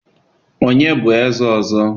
onye bu eze ozo?